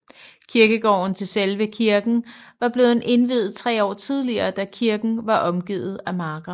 Kirkegården til selve kirken var blevet indviet tre år tidligere da kirken var omgivet af marker